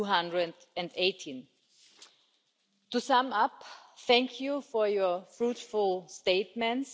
218. To sum up, thank you for your fruitful statements.